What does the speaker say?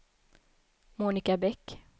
Monica Bäck